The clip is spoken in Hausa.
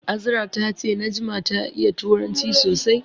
Azra ta ce Najma ta iya turanci sosai.